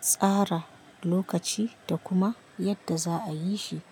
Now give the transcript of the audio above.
tsara lokaci da kuma yadda za'a yi shi.